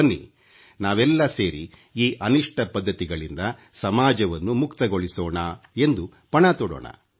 ಬನ್ನಿ ನಾವೆಲ್ಲ ಸೇರಿ ಈ ಅನಿಷ್ಟ ಪದ್ಧತಿಗಳಿಂದ ಸಮಾಜವನ್ನು ಮುಕ್ತಗೊಳಿಸೋಣ ಎಂದು ಪಣ ತೊಡೋಣ